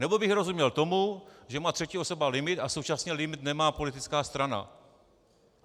Nebo bych rozuměl tomu, že má třetí osoba limit a současně limit nemá politická strana.